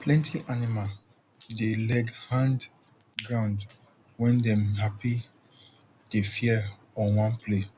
plenty animal dey leg hand groundwen dem happydey fear or wan play